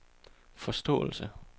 forståelse